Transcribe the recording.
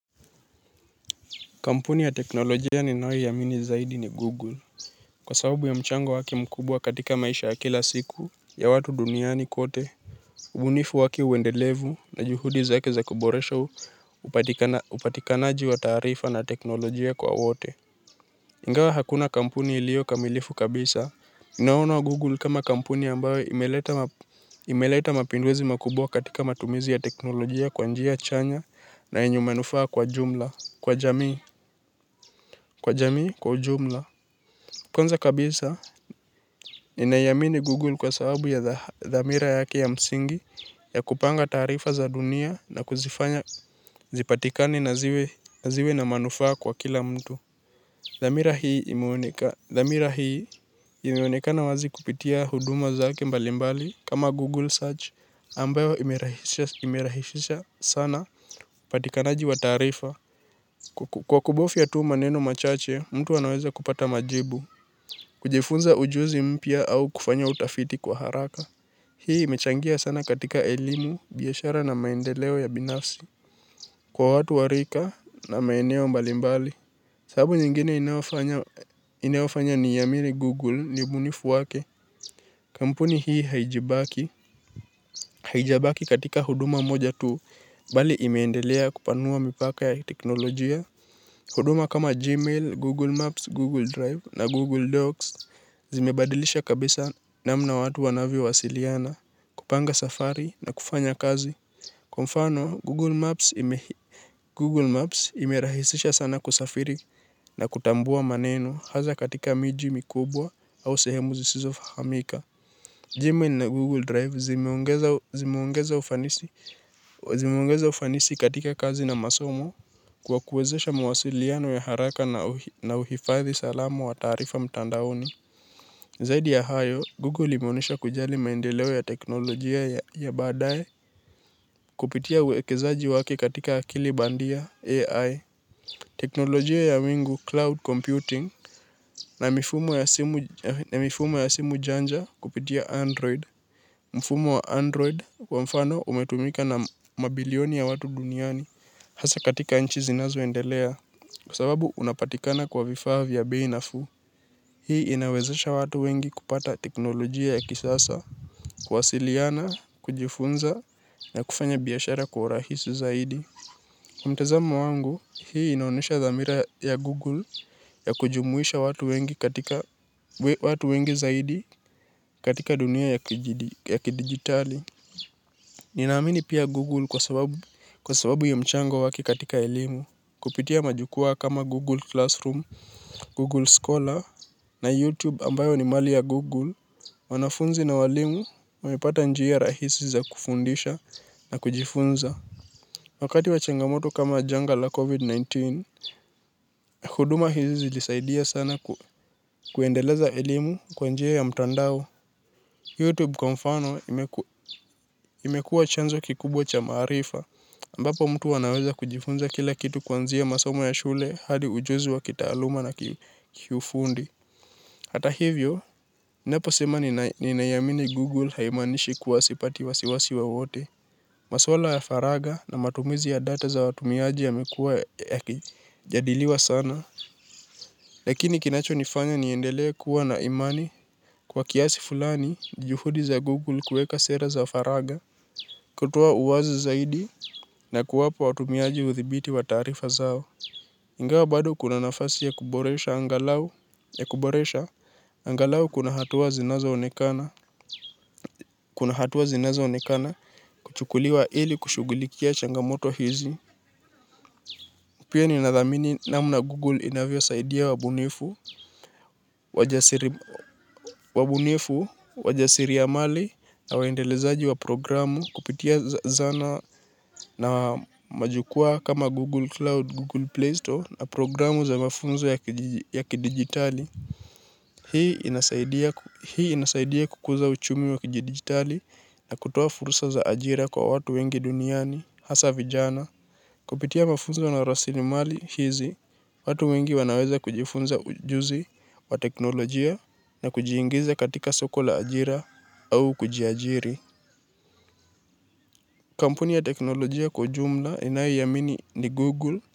Kampuni ya teknolojia ninayoiamini zaidi ni Google. Kwa sababu ya mchango wake mkubwa katika maisha ya kila siku, ya watu duniani kote, ubunifu wake uendelevu na juhudi zake za kuboresho upatikanaji wa taarifa na teknolojia kwa wote. Ingawa hakuna kampuni iliyo kamilifu kabisa. Naona Google kama kampuni ambayo imeleta imeleta mapinduzi makubwa katika matumizi ya teknolojia kwa njia chanya na yenye manufaa kwa jumla, kwa jamii, kwa jamii, kwa ujumla. Kwanza kabisa, ninaiamini Google kwa sababu ya dhamira yake ya msingi ya kupanga taarifa za dunia na kuzifanya zipatikane na ziwe ziwe na manufaa kwa kila mtu. Dhamira hii imeonekana wazi kupitia huduma zake mbalimbali kama Google Search ambayo imerahisisha sana upatikanaji wa taarifa. Kwa kubofya tu maneno machache, mtu anaweza kupata majibu, kujifunza ujuzi mpya au kufanya utafiti kwa haraka. Hii imechangia sana katika elimu, biashara na maendeleo ya binafsi, kwa watu wa rika na maeneo mbalimbali. Sababu nyingine inayofanya inayofanya niiamini Google ni ubunifu wake. Kampuni hii haijibaki, haijabaki katika huduma moja tu, bali imeendelea kupanua mipaka ya teknolojia. Huduma kama Gmail, Google Maps, Google Drive na Google Docs zimebadilisha kabisa namna watu wanavyo wasiliana kupanga safari na kufanya kazi. Kwa mfano, Google Maps imerahisisha sana kusafiri na kutambua maneno hasa katika miji mikubwa au sehemu zisizo fahamika. Gmail na Google Drive zimeongeza zimeongeza ufanisi katika kazi na masomo kwa kuwezesha mawasiliano ya haraka na uhifadhi salama wa taarifa mtandaoni. Zaidi ya hayo, Google imeonyesha kujali maendeleo ya teknolojia ya baadae kupitia uwekezaji wake katika akili bandia AI. Teknolojia ya wingu cloud computing na mifumo ya simu janja kupitia Android. Mfumo wa Android kwa mfano umetumika na mabilioni ya watu duniani hasa katika nchi zinazo endelea kwa sababu unapatikana kwa vifaa vya bei nafuu. Hii inawezesha watu wengi kupata teknolojia ya kisasa, kuwasiliana, kujifunza na kufanya biashara kwa urahisi zaidi. Mtazamo wangu hii inaonyesha dhamira ya Google ya kujumuisha watu wengi katika watu wengi zaidi katika dunia ya kidijitali. Ninaamini pia Google kwa sababu ya mchango wake katika elimu. Kupitia majukwaa kama Google Classroom, Google Scholar na YouTube ambayo ni mali ya Google. Wanafunzi na walimu, wamepata njia rahisi za kufundisha na kujifunza. Wakati wa changamoto kama janga la COVID-19, huduma hizi zilisaidia sana kuendeleza elimu kwa njia ya mtandao. Youtube kwa mfano imekuwa chanzo kikubwa cha maarifa ambapo mtu anaweza kujifunza kila kitu kuanzia masomo ya shule hadi ujuzi wa kitaaluma na kiufundi. Hata hivyo, ninaposema ninaiamini Google haimaanishi kuwa sipati wasiwasi wowote. Masuala ya faragha na matumizi ya data za watumiaji yamekuwa yakijadiliwa sana. Lakini kinacho nifanya niendelee kuwa na imani. Kwa kiasi fulani, juhudi za Google kuweka sera za faragha, kutoa uwazi zaidi, na kuwapa watumiaji udhibiti wa taarifa zao. Ingawa bado kuna nafasi ya kuboresha angalau, ya kuboresha, angalau kuna hatua zinazo onekana, kuna hatua zinazo onekana, kuchukuliwa ili kushughulikia changamoto hizi. Pia ninathamini namna Google inavyo saidia wabunifu, waja wabunifu, wajasiriamali na waendelezaji wa programu kupitia zana na majukwaa kama Google Cloud, Google Play Store na programu za mafunzo ya kidigitali. Hii hii inasaidia kukuza uchumi wa kidigitali na kutoa fursa za ajira kwa watu wengi duniani, hasa vijana. Kupitia mafunzo na rasilimali hizi, watu wengi wanaweza kujifunza ujuzi wa teknolojia na kujiingiza katika soko la ajira au kujiajiri. Kampuni ya teknolojia kwa ujumla inayoiamini ni Google.